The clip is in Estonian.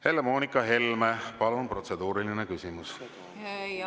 Helle-Moonika Helme, palun, protseduuriline küsimus!